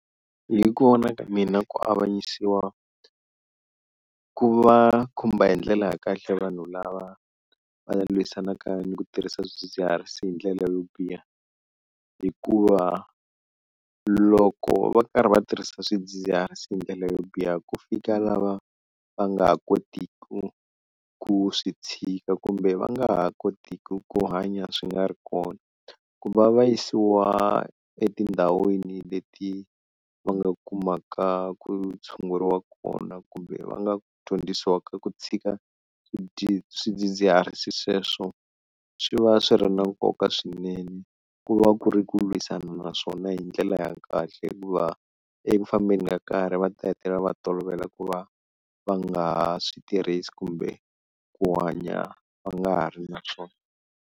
Hi ku vona ka mina ku avanyisiwa ku va khumba hi ndlela ya kahle vanhu lava va lwisanaka ni ku tirhisa swidzidziharisi hi ndlela yo biha hikuva loko va karhi va tirhisa swidzidziharisi hi ndlela yo biha, ku fika lava va nga ha kotiki ku swi tshika kumbe va nga ha kotiki ku hanya swi nga ri kona, ku va va yisiwa etindhawini leti va nga kumaka ku tshunguriwa kona kumbe va nga dyondzisiwaka ku tshika swidzidziharisi sweswo swi va swi ri na nkoka swinene ku va ku ri ku lwisana naswona hi ndlela ya kahle, hikuva eku fambeni ka nkarhi va ta hetelela va tolovela ku va va nga ha swi tirhisi kumbe ku hanya va nga ha ri na swona.